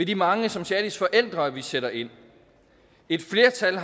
de mange som shadis forældre vi sætter ind et flertal